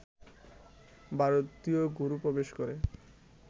ভারতীয় গরু প্রবেশ করে